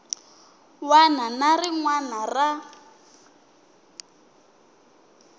wana na rin wana ra